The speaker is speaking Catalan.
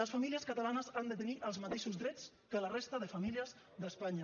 les famílies catalanes han de tenir els mateixos drets que la resta de famílies d’espanya